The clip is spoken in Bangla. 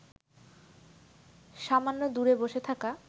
সামান্য দূরে বসে থাকা